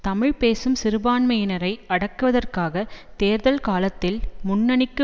தமிழ் பேசும் சிறுபான்மையினரை அடக்குவதற்காக தேர்தல் காலத்தில் முன்னணிக்கு